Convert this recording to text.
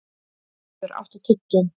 Eivör, áttu tyggjó?